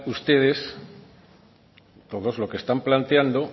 ustedes todos lo que están planteando